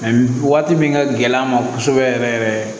waati min ka gɛlɛn an ma kosɛbɛ yɛrɛ yɛrɛ